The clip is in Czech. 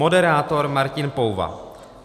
Moderátor Martin Pouva.